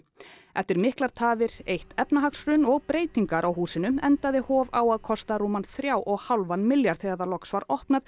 eftir miklar tafir eitt efnahagshrun og breytingar á húsinu endaði Hof á að kosta rúman þrjá og hálfan milljarð þegar það loks var opnað